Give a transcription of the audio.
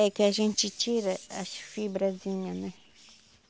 É que a gente tira as fibrazinha, né?